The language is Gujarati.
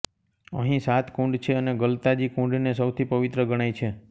અહીં સાત કુંડ છે અને ગલતાજી કુંડને સૌથી પવિત્ર ગણાય છે